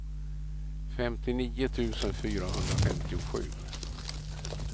femtionio tusen fyrahundrafemtiosju